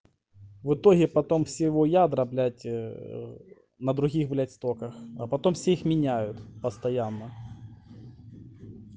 в итоге потом всего ядра блять э на других блять стоках а потом всех меняют постоянно